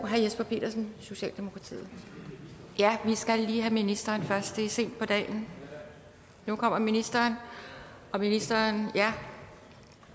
herre jesper petersen socialdemokratiet vi skal lige have ministeren ind nu kommer ministereren ministeren